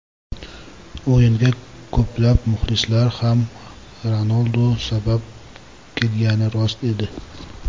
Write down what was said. O‘yinga ko‘plab muxlislar ham Ronaldu sabab kelgani rost edi.